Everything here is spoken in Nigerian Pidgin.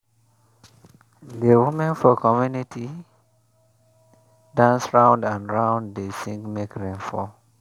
di women for community dance round and round dey sing make rain fall.